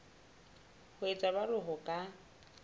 ho etsa jwalo ho ka